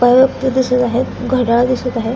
काही व्यक्ति दिसत आहेत घडयाळ दिसत आहे.